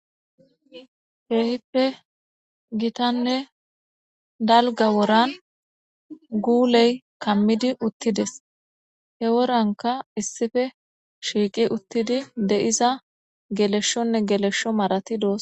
Kehipe gitane dalga woran guley kamidi utides he woranka issipe shiqi utidi de'za geleshone gelesho Marati dosona.